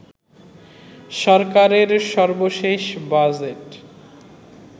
সরকারের সর্বশেষ বাজেট